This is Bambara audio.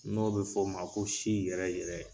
N'o bɛ fɔ o ma ko si yɛrɛ yɛrɛ.